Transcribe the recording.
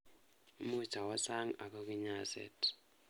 Muuch awo sang ako kinyaset